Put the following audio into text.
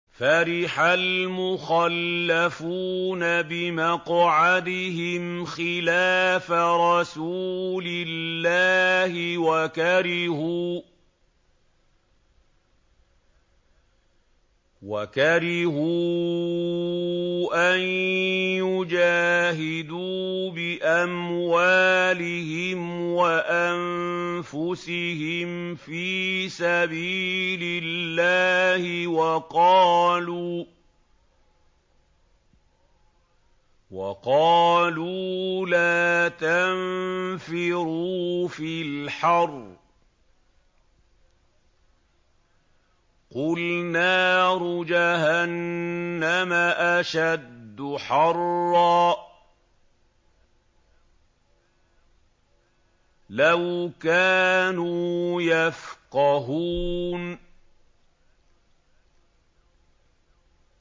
فَرِحَ الْمُخَلَّفُونَ بِمَقْعَدِهِمْ خِلَافَ رَسُولِ اللَّهِ وَكَرِهُوا أَن يُجَاهِدُوا بِأَمْوَالِهِمْ وَأَنفُسِهِمْ فِي سَبِيلِ اللَّهِ وَقَالُوا لَا تَنفِرُوا فِي الْحَرِّ ۗ قُلْ نَارُ جَهَنَّمَ أَشَدُّ حَرًّا ۚ لَّوْ كَانُوا يَفْقَهُونَ